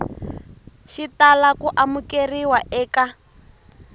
xi tala ku amukeriwa eka